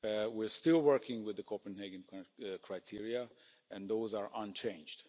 We're still working with the Copenhagen criteria and those are unchanged.